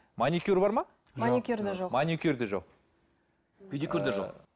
маникюр бар ма маникюр де жоқ маникюрде жоқ педикюр де жоқ